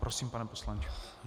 Prosím, pane poslanče.